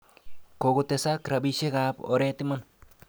Kokotesak rabishekab oret iman.